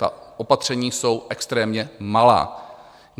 Ta opatření jsou extrémně malá.